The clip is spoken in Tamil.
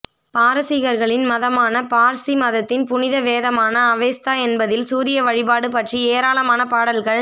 பாரசீகர்களின் மதமான பார்ஸி மதத்தின் புனித வேதமான அவெஸ்தா என்பதில் சூரிய வழிபாடு பற்றி ஏராளமான பாடல்கள்